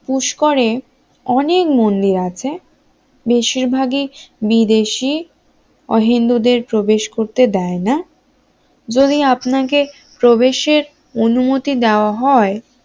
পুষ্করে অনেক মন্দির আছে বেশিরভাগই বিদেশি ও হিন্দুদের প্রবেশ করতে দেয় না যদিও আপনাকে প্রবেশের অনুমতি দেওয়া হয়